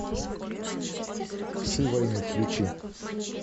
псы войны включи